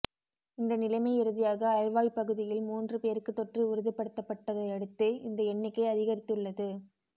இந்த நிலைமை இறுதியாக அல்வாய் பகுதியில் மூன்று பேருக்கு தொற்று உறுதிப்படுத்தப்பட்டதையடுத்து இந்த எண்ணிக்கை அதிகரித்துள்ளது